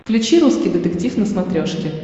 включи русский детектив на смотрешке